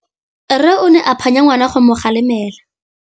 Rre o ne a phanya ngwana go mo galemela.